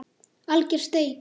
Alger steik